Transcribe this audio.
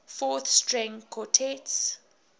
fourth string quartets